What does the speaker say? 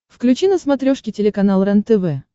включи на смотрешке телеканал рентв